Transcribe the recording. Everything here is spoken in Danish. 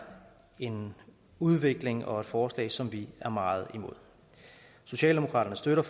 en udvikling og et forslag som vi er meget imod socialdemokraterne støtter